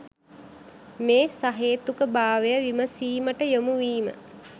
මේ සහේතුක භාවය විමසීමට යොමුවීම